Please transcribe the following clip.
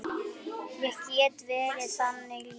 Ég get verið þannig líka.